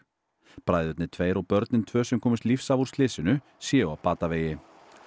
bræðurnir tveir og börnin tvö sem komust lífs af úr slysinu séu á batavegi